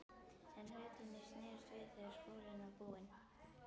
En hlutirnir snerust við þegar skólinn var búinn.